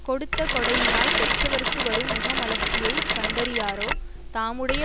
கொடுத்த கொடையினால் பெற்றவர்க்கு வரும் முகமலர்ச்சியைக் கண்டறியாரோ தாமுடைய